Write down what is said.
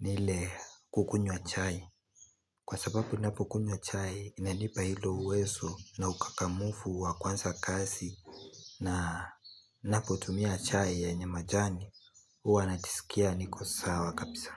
nile kukunywa chai Kwa sababu napo kunywa chai inanipa hilo uwezo na ukakamufu wa kwanza kasi na napo tumia chai ya nye majani uwa natisikia nikosawa kabisa.